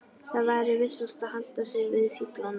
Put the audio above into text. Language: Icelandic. Það væri vissast að halda sig við fíflana.